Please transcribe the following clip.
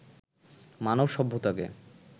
মানব সভ্যতাকে